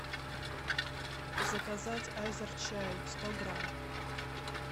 заказать азерчай сто грамм